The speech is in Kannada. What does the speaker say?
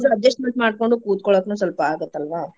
Adjustment ಮಾಡ್ಕೊಂಡು ಕುತ್ಕೊಳ್ಳೊಕುನು ಸ್ವಲ್ಪ ಆಗುತ್ತಲ್ವಾ?